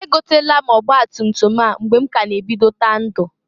E gotalu m ọgbatumtum a mgbe m k'a na ebidota ndu.